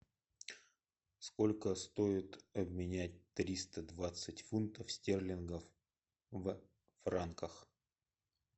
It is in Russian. сколько стоит обменять триста двадцать фунтов стерлингов в франках